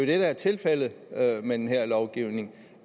det der er tilfældet med den her lovgivning